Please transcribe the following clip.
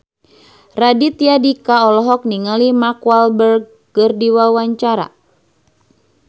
Raditya Dika olohok ningali Mark Walberg keur diwawancara